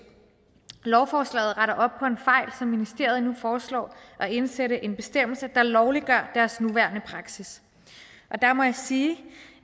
lovforslaget retter op på en fejl og ministeriet foreslår at indsætte en bestemmelse der lovliggør deres nuværende praksis og der må jeg sige